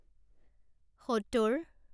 সত্তৰ